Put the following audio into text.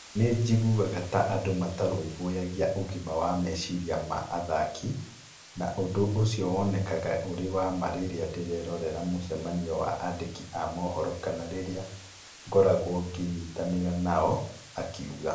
Nĩ njiguaga ta andũ matarũmbũyagia ũgima wa meciria ma athaki, na ũndũ ũcio wonekaga ũrĩ wa ma rĩrĩa ndĩrerorera mũcemanio wa andĩki a mohoro kana rĩrĩa ngoragwo ngĩnyitanĩra na o, akiuga.